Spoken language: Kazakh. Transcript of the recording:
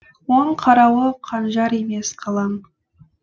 оның қарауы қанжар емес қалам